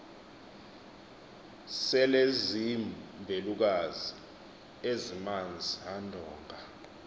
selezimbelukazi ezimanz andonga